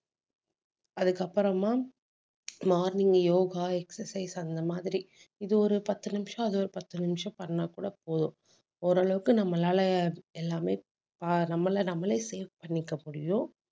அதுக்கு அப்புறமா morning yoga exercise அந்த மாதிரி இது ஒரு பத்து நிமிஷம் அது ஒரு பத்து நிமிஷம் பண்ணா கூட போதும். ஓரளவுக்கு நம்மளால எல்லாமே ஆஹ் நம்மள நம்மளலே save பண்ணிக்க முடியும்